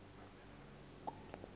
u aabe nakwi